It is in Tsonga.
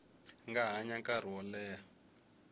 nga hanya nkarhi wo leha